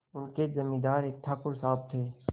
उनके जमींदार एक ठाकुर साहब थे